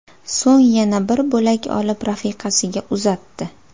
So‘ng yana bir bo‘lak olib, rafiqasiga uzatdi.